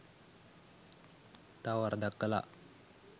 තව වරදක් කළා